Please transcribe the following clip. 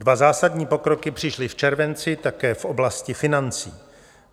Dva zásadní pokroky přišly v červenci také v oblasti financí.